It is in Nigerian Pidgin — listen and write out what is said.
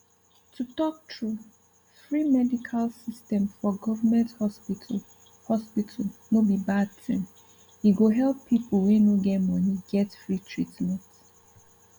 to talk true free medical system for goverment hospital hospital no be bad thing e go help pipu we no get money get free treatment